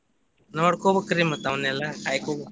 ನೋಡ್ಕೊಬೇಕ್ರಿ ಮತ್ತ್ ಅವನೆಲ್ಲಾ ಕಾಯ್ಕೋಬೇಕ್.